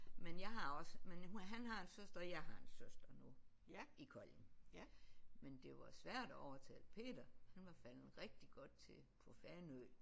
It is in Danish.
Men jeg har også men han har en søster og jeg har en søster nu i Kolding men det var svært at overtale Peter han var faldet rigtig godt til på Fanø